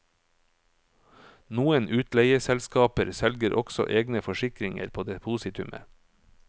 Noen utleieselskaper selger også egne forsikringer på depositumet.